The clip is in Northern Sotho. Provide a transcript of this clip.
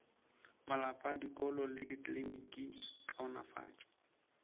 malapa dikolo le dikliniki kaonafatšo